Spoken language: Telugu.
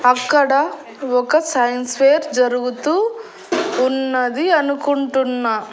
అక్కడ ఒక సైన్స్ ఫెయిర్ జరుగుతూ ఉన్నది అనుకుంటున్నా.